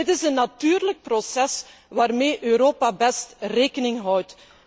Dit is een natuurlijk proces waarmee Europa best rekening houdt.